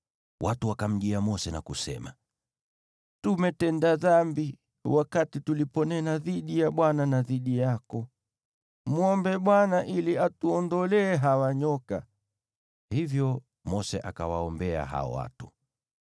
Watu wakamjia Mose na kusema, “Tumetenda dhambi wakati tuliponena dhidi ya Bwana na dhidi yako. Mwombe Bwana ili atuondolee hawa nyoka.” Hivyo Mose akawaombea hao watu.